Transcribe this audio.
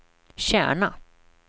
Kärna